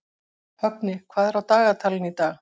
Högni, hvað er á dagatalinu í dag?